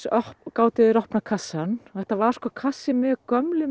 gátu þeir opnað kassann þetta var sko kassi með gömlum